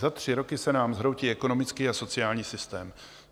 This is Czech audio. Za tři roky se nám zhroutí ekonomický a sociální systém.